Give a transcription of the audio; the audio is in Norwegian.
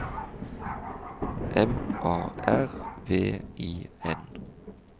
M A R V I N